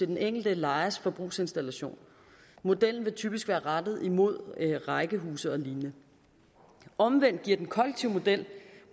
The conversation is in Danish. den enkelte lejers forbrugsinstallation modellen vil typisk være rettet imod rækkehuse og lignende omvendt giver den kollektive model